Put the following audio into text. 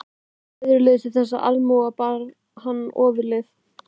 Æðruleysi þessara almúgamanna bar hann ofurliði.